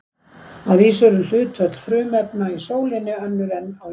Að vísu eru hlutföll frumefna í sólinni önnur en á jörðinni.